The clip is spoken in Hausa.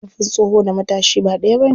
Ƙarfin tsoho da matashi ba ɗaya bane.